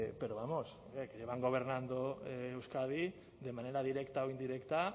pero vamos que llevan gobernando euskadi de manera directa o indirecta